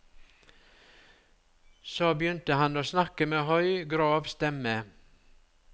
Så begynte han å snakke med høy, grov stemme.